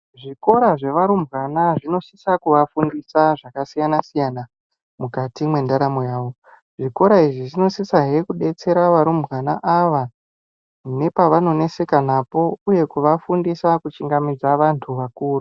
Zvikora zvevarumbwana zvinosisa kuvafundisa zvakasiyana-siyana mukati mendaramo yavo. Zvikora izvi zvinosisahe kubetsera varumbwana ava nepavano neseka napo, uye kuvafundisa kuchingamidza vantu vakuru.